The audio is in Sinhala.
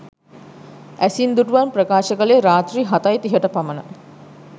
ඇසින් දුටුවන් ප්‍රකාශ කළේ රාත්‍රී හතයි තිහට පමණ